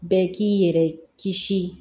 Bɛɛ k'i yɛrɛ kisi